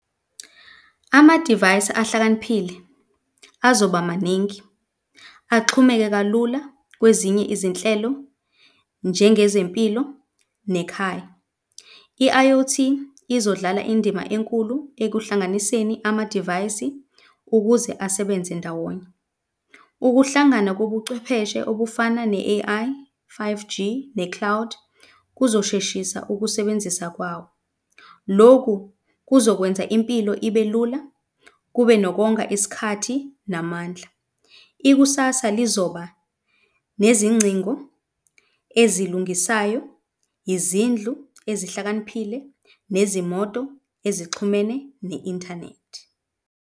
Ama-device ahlakaniphile azoba maningi axhumeke kalula kwezinye izinhlelo njengezempilo nekhaya. I-I_o_T izodlala indima enkulu ekuhlanganiseni amadivayisi ukuze asebenze ndawonye. Ukuhlangana kobuchwepheshe obufana ne-A_I, five G ne-cloud kuzosheshisa ukusebenzisa kwawo. Loku kuzokwenza impilo ibe lula kube nokonga isikhathi namandla. Ikusasa lizoba nezingcingo ezilungisayo, yizindlu ezihlakaniphile, nezimoto ezixhumene ne-inthanethi.